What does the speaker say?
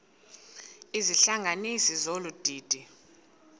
izihlanganisi zolu didi